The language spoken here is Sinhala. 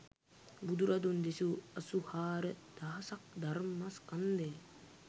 බුදුරදුන් දෙසූ අසූහාර දහසක් ධර්මස්කන්ධය